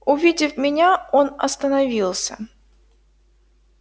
увидев меня он остановился